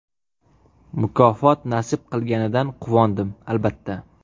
Mukofot nasib qilganidan quvondim, albatta.